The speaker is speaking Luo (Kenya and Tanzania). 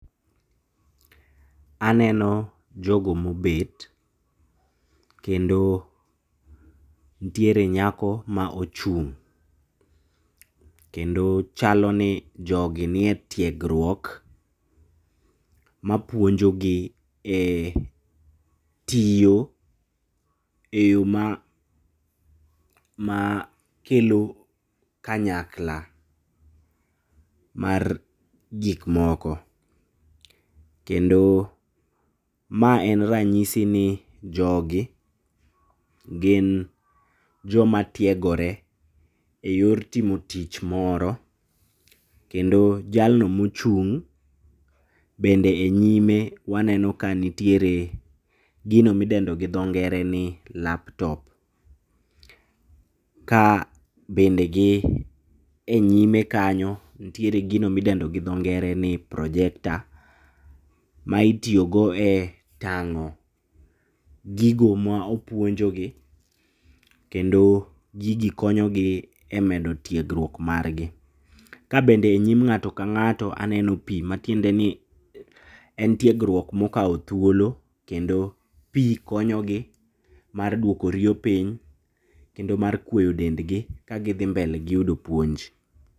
Aneno jogo ma obet. Kendo nitiere nyako ma ochung', kendo chalo ni jogi nie tiegruok ma puonjo gi e tiyo e yo ma ma kelo kanyakla mar gik moko. Kendo mae en ranyisi ni jogi, gin joma tiegore eyor timo tich moro. Kendo jalno mochung' bende e nyime waneno ka nitiere gino ma idendo gi dho ngere ni laptop. Ka bende gi e nyime kanyo, nitiere gino midendo gi dho ngere ni projector. Ma itiyogo e tang'o gigo ma opuonjogi, kendo gigi konyo gi e moedo tiegruok margi. Ka bende e nyim ng'ato ka ng'ato aneno pi matiende ni en tiegruok ma okawo thuolo kendo pi konyo gi mar duoko riyo piny, kendo mar kuoyo dendgi, ka gidhi mbele gi yudo puonj.